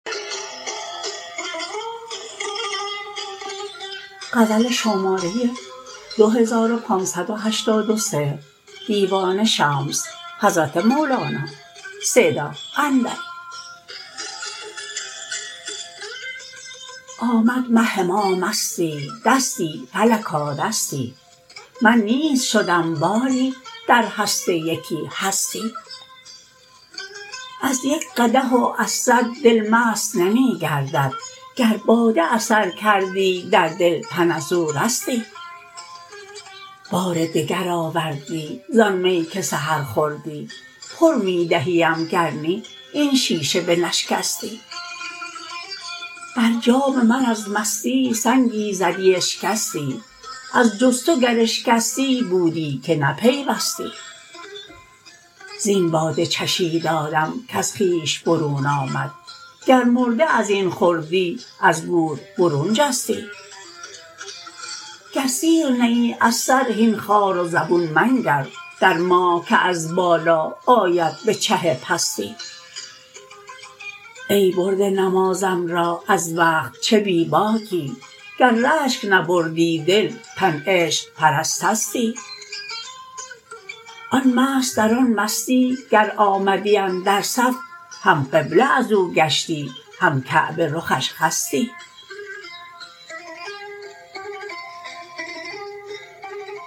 آمد مه ما مستی دستی فلکا دستی من نیست شدم باری در هست یکی هستی از یک قدح و صد دل او مست نمی گردد گر باده اثر کردی در دل تن از او رستی بار دگر آوردی زان می که سحر خوردی پر می دهیم گر نی این شیشه بنشکستی بر جام من از مستی سنگی زدی اشکستی از جز تو گر اشکستی بودی که نپیوستی زین باده چشید آدم کز خویش برون آمد گر مرده از این خوردی از گور برون جستی گر سیر نه ای از سر هین خوار و زبون منگر در ماه که از بالا آید به چه پستی ای برده نمازم را از وقت چه بی باکی گر رشک نبردی دل تن عشق پرستستی آن مست در آن مستی گر آمدی اندر صف هم قبله از او گشتی هم کعبه رخش خستی